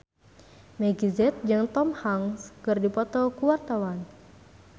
Meggie Z jeung Tom Hanks keur dipoto ku wartawan